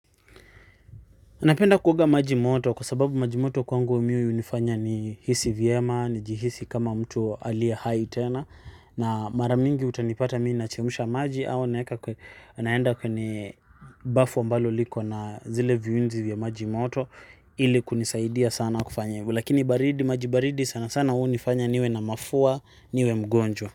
Napenda kuoga maji moto kwa sababu maji moto kwangu mi hunifanya ni hisi vyema ni jihisi kama mtu aliye hai tena na mara mingi utanipata mi nachemusha maji au naeka kwenye, naenda kwenye bafu ambalo liko na zile viuzi vya maji moto ili kunisaidia sana kufanya hivo, lakini baridi, maji baridi sana sana hunifanya niwe na mafua niwe mgonjwa.